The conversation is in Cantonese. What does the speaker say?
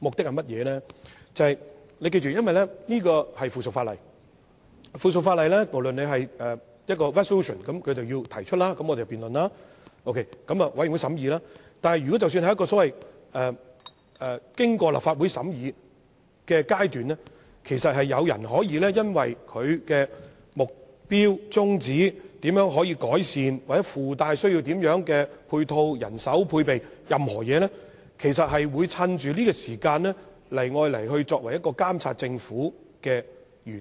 議員要記得，原本的議案關乎附屬法例，即不論是否關乎一項決議案，提出後會由議員進行辯論，經過相關委員會審議，但即使是經過立法會審議的階段，議員其實也可以因應議案的目標、宗旨、改善方法或須附帶甚麼配套、人手、配備等任何事宜，藉着這個機會進行辯論，以達到監察政府的原意。